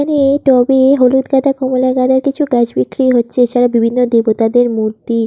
এখানে টবে হলুদ গাঁদা কমলা গাঁদার কিছু গাছ বিক্রি হচ্ছে এছাড়া বিভিন্ন দেবতাদের মূর্তি।